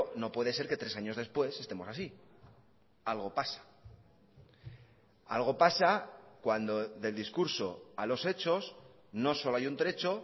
no puede ser que tres años después estemos así algo pasa algo pasa cuando del discurso a los hechos no solo hay un trecho